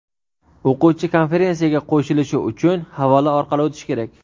O‘quvchi konferensiyaga qo‘shilishi uchun havola orqali o‘tishi kerak.